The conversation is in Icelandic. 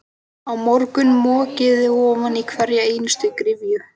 Á morgun mokið þið ofan í hverja einustu gryfju.